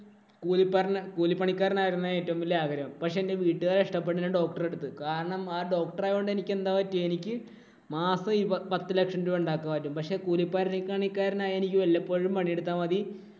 കൂലി പര കൂലിപ്പണിക്കാരന്‍ ആവണമെന്നായിരുന്നു ഏറ്റവും വലിയ ആഗ്രഹം. പക്ഷേ എന്‍റെ വീട്ടുകാര്‍ ഇഷ്ടപ്പെട്ടത് ഞാന്‍ doctor എടുത്തു. കാരണം ആ doctor ആവണ്ട എനിക്ക് എന്താ പറ്റിയേ. മാസം ഈ പത്തുലക്ഷം രൂപ ഉണ്ടാക്കും ആദ്യം. പക്ഷേ കൂലിപ്പണിക്കാരനായ എനിക്ക് വല്ലപ്പോഴും പണിയെടുത്താ മതി.